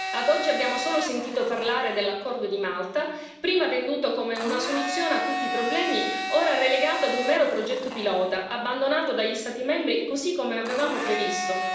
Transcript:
Ad oggi abbiamo solo sentito parlare dell'accordo di Malta, prima venduto come una soluzione a tutti problemi, ora relegato ad un mero progetto pilota, abbandonato dagli Stati membri, così come avevamo previsto.